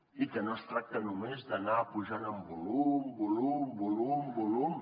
i no es tracta només d’anar pujant en volum volum volum volum